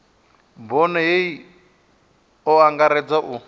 bono hei o angaredza u